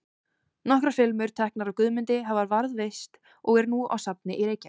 Nokkrar filmur, teknar af Guðmundi, hafa varðveist og eru nú á safni í Reykjavík.